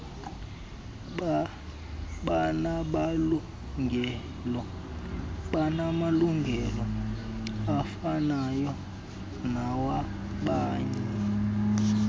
banamalungelo afanayo nawabanye